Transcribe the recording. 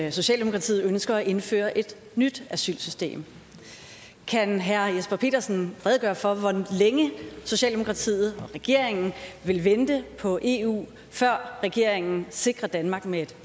at socialdemokratiet ønsker at indføre et nyt asylsystem kan herre jesper petersen redegøre for hvor længe socialdemokratiet og regeringen vil vente på eu før regeringen sikrer danmark med et